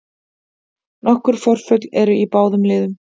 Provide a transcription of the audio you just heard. Nokkur forföll eru í báðum liðum